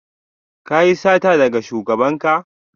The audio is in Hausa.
Ka yi sata daga shugabanka?